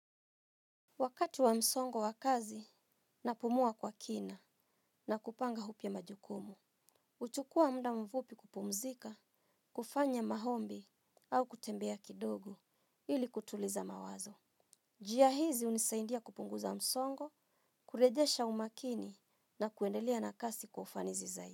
Wakati wa msongo wa kazi napumuwa kwa kina na kupanga upya majukumu huchukua muda mfupi kupumzika, kufanya maombi au kutembea kidogo ili kutuliza mawazo. Njia hizi hunisaindia kupunguza msongo, kurejesha umakini na kuendelea na kazi kwa ufanisi zaidi.